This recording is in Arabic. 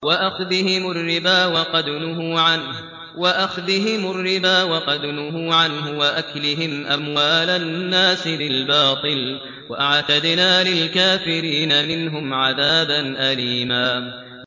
وَأَخْذِهِمُ الرِّبَا وَقَدْ نُهُوا عَنْهُ وَأَكْلِهِمْ أَمْوَالَ النَّاسِ بِالْبَاطِلِ ۚ وَأَعْتَدْنَا لِلْكَافِرِينَ مِنْهُمْ عَذَابًا أَلِيمًا